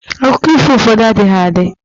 akụkọ ifo ụfọdụ adịghị adi